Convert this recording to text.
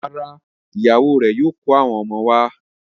Rárá, ìyàwó rẹ̀ yóò kó àwọn ọmọ wọn wá.